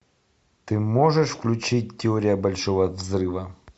ты можешь включить теория большого взрыва